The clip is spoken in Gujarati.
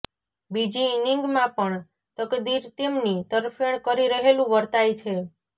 બીજી ઈનિંગમાં પણ તકદીર તેમની તરફેણ કરી રહેલું વર્તાય છે